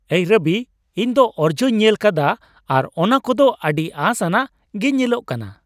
ᱮᱭ ᱨᱚᱵᱤ, ᱤᱧ ᱫᱚ ᱚᱨᱡᱚᱧ ᱧᱮᱞᱟᱠᱟᱫᱟ ᱟᱨ ᱚᱱᱟ ᱠᱩ ᱫᱚ ᱟᱹᱰᱤ ᱟᱥᱼᱟᱱᱟᱜ ᱜᱮ ᱧᱮᱞᱚᱜ ᱠᱟᱱᱟ ᱾